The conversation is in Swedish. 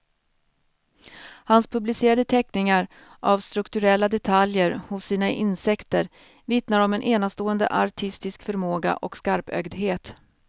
Hans publicerade teckningar av strukturella detaljer hos sina insekter vittnar om en enastående artistisk förmåga och skarpögdhet.